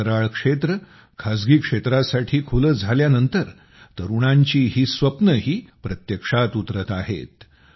अंतराळ क्षेत्र खासगी क्षेत्रासाठी खुले झाल्यानंतर तरुणांची ही स्वप्नंही प्रत्यक्षात उतरत आहेत